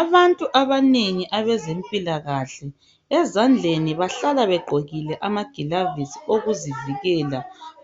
Abantu abanengi abezempilakahle ezandleni bahlala begqokile amaglavuzi okuzivikela